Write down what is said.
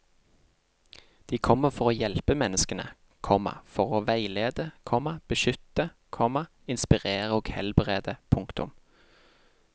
De kommer for å hjelpe menneskene, komma for å veilede, komma beskytte, komma inspirere og helbrede. punktum